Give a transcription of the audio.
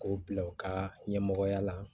K'o bila u ka ɲɛmɔgɔya la